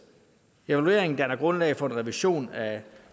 evalueringen danner grundlag for en revision af